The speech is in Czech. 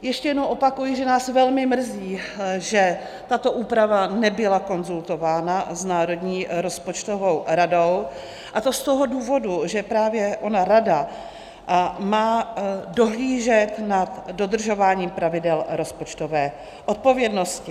Ještě jednou opakuji, že nás velmi mrzí, že tato úprava nebyla konzultována s Národní rozpočtovou radou, a to z toho důvodu, že právě ona rada má dohlížet nad dodržováním pravidel rozpočtové odpovědnosti.